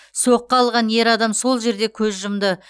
соққы алған ер адам сол жерде көз жұмды